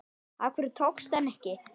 Af hverju tókstu hana ekki?